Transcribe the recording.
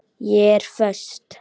Ég er föst.